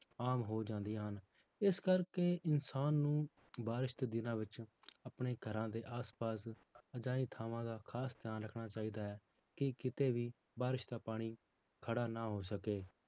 ਆਮ ਹੋ ਜਾਂਦੀਆਂ ਹਨ, ਇਸ ਕਰਕੇ ਇਨਸਾਨ ਨੂੰ ਬਾਰਿਸ਼ ਦੇ ਦਿਨਾਂ ਵਿੱਚ ਆਪਣੇ ਘਰਾਂ ਦੇ ਆਸ ਪਾਸ ਅਜਿਹੀ ਥਾਵਾਂ ਦਾ ਖ਼ਾਸ ਧਿਆਨ ਰੱਖਣਾ ਚਾਹੀਦਾ ਹੈ, ਕਿ ਕਿਤੇ ਵੀ ਬਾਰਿਸ਼ ਦਾ ਪਾਣੀ ਖੜਾ ਨਾ ਹੋ ਸਕੇ।